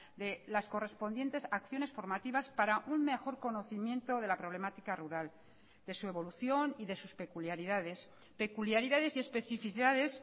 de las correspondientes acciones formativas para un mejor conocimiento de la problemática rural de su evolución y de sus peculiaridades peculiaridades y especificidades